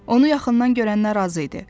Onu yaxından görənlər razı idi.